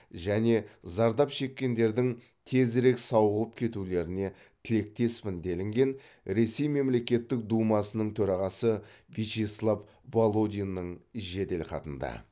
және зардап шеккендердің тезірек сауығып кетулеріне тілектеспін делінген ресей мемлекеттік думасының төрағасы вячеслав володиннің жеделхатында